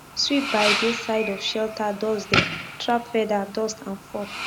sweep by dey side of shelter doorsdem trap feather dust and fur